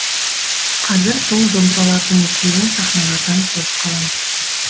қазір сол домбыралардың екеуін сахналардан көріп қалам